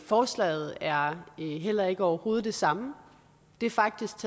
forslaget er er heller ikke overhovedet det samme det er faktisk